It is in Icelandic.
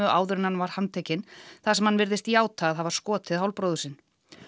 áður en hann var handtekinn þar sem hann virðist játa að hafa skotið bróður sinn